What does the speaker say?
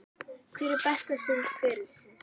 Hver er besta stund ferilsins?